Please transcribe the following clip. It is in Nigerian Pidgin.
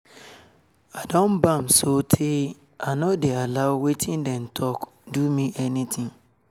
i don bam so tey i nor dey allow wetin dem say do me anytin